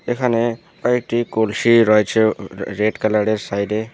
এখানে কয়েকটি কলসি রয়েছে রেড কালারের সাইডে।